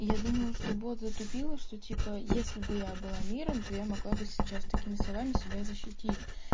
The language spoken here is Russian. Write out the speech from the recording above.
я думаю что бот затупила что типа если бы я была миром то я могла бы сейчас такими словами себя защитить